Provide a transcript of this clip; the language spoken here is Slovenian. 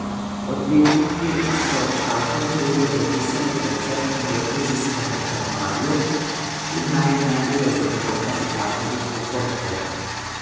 Odvetniki so tako krivdo pripisali predvsem indonezijskemu krmarju, ki naj ne bi razumel kapitanovih napotkov.